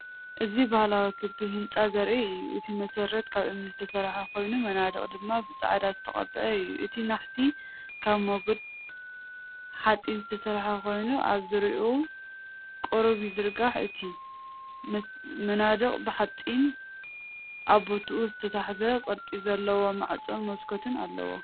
እዚ ባህላዊ ክቢ ህንጻ ዘርኢ እዩ። እቲ መሰረት ካብ እምኒ ዝተሰርሐ ኮይኑ መናድቕ ድማ ብፃዕዳ ዝተቐብአ እዩ። እቲ ናሕሲ ካብ ሞገድ ሓጺን ዝተሰርሐ ኮይኑ ኣብ ዙርያኡ ቁሩብይዝርጋሕ። እቲ መናድቕ ብሓጺን ኣብ ቦታኡ ዝተታሕዘ ቅርጺ ዘለዎ ማዕጾን መስኮትን ኣለዎ።